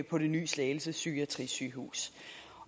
på det nye slagelse psykiatrisygehus